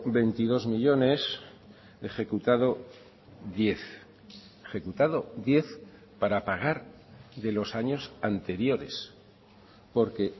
veintidós millónes ejecutado diez ejecutado diez para pagar de los años anteriores porque